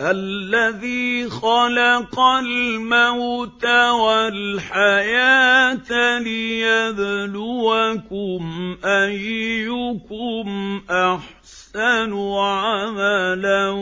الَّذِي خَلَقَ الْمَوْتَ وَالْحَيَاةَ لِيَبْلُوَكُمْ أَيُّكُمْ أَحْسَنُ عَمَلًا ۚ